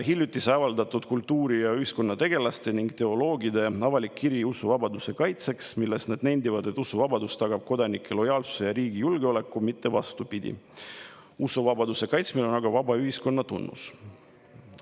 Hiljuti avaldati kultuuri‑ ja ühiskonnategelaste ning teoloogide avalik kiri usuvabaduse kaitseks, milles nad nendivad, et usuvabadus tagab kodanike lojaalsuse ja riigi julgeoleku, mitte vastupidi, usuvabaduse kaitsmine on aga vaba ühiskonna tunnus.